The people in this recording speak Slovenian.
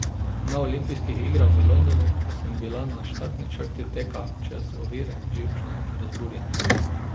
Na olimpijskih igrah v Londonu sem bila na štartni črti teka čez ovire živčna in razburjena.